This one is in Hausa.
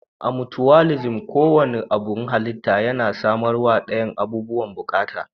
A mucuwalisim, ko wanne abun halitta yana samarwa dayan abubuwan bukata.